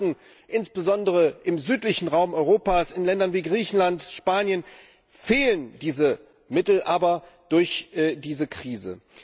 Vielen Banken, insbesondere im südlichen Raum Europas, in Ländern wie Griechenland, Spanien, fehlen diese Mittel aber durch diese Krise.